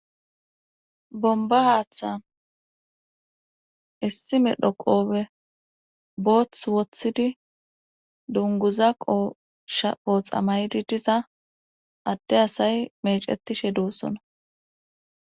Bomba haaththan issi medho qoobe booth woththidi dunguza qoosha ooxamaydi diza adde asay mecetishe duussona